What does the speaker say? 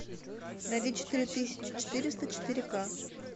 найди четыре тысячи четыреста четыре к